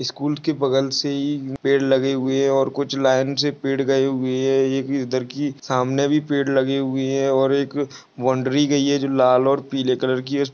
School के बगल से ही पेड़ लगे हुए है और कुछ लाइन से पेड़ गए हुए है। एक इधर की सामने भी पेड़ लगे हुए है। और एक बाउंड्री गयी है। जो लाल और पीले कलर की--